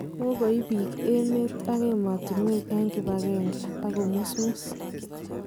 Kokoib bik, emet ak emotunwek eng kibagenge, ak kemusmus .